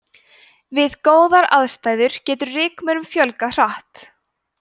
við góðar aðstæður getur rykmaurum fjölgað mjög hratt